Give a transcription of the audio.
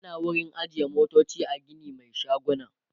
ana ada wurin ajiye motoci a Gini Mai shaguna